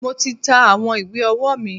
Mo ti ta àwọn ìwé ọwọ́ mi.